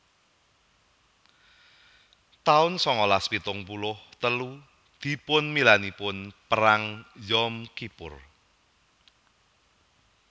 taun sangalas pitung puluh telu Dipunmilainipun Perang Yom Kippur